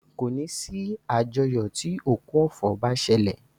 Kòní sí àjọyọ̀ tí òkú ọ̀fọ̀ bá ṣẹlẹ̀.